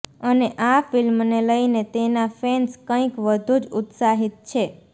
અને આ ફિલ્મને લઈને તેના ફૅન્સ કઈંક વધુ જ ઉત્સાહિત છે